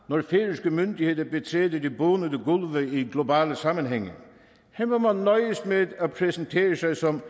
når færøske myndigheder betræder de bonede gulve i globale sammenhænge her må man nøjes med at præsentere sig som